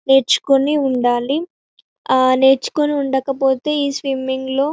నేర్చుకొని ఉండాలి నేర్చుకొని ఉండకపోతే ఈ స్విమ్మింగ్ లో--